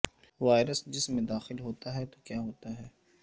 virus کے جسم میں داخل ہوتا ہے تو کیا ہوتا ہے